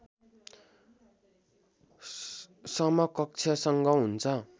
समकक्षसँग हुन्छ